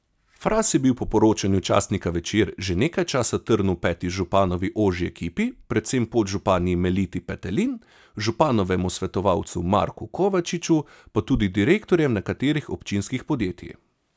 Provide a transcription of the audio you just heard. Fras je bil po poročanju časnika Večer že nekaj časa trn v peti županovi ožji ekipi, predvsem podžupanji Meliti Petelin, županovemu svetovalcu Marku Kovačiču, pa tudi direktorjem nekaterih občinskih podjetij.